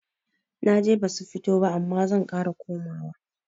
Naje basu fita ba amma zan ƙara komawa